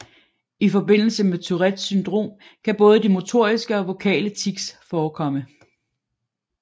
I forbindelse med Tourettes syndrom kan både de motoriske og vokale tics forekomme